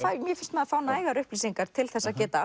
mér finnst maður fá nægar upplýsingar til að geta